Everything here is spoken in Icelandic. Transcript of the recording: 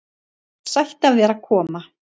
Sætt af þér að koma.